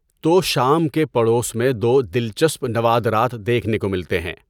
توشام کے پڑوس میں دو دلچسپ نوادرات دیکھنے کو ملتے ہیں۔